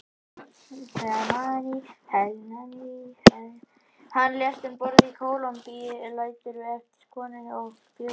Hann lést um borð í Kólumbíu og lætur eftir sig konu og fjögur börn.